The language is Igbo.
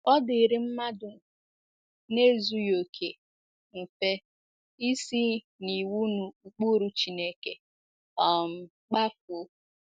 Ọ dịịrị mmadụ na - ezughị okè mfe isi n’iwu na ụkpụrụ Chineke um kpafuo.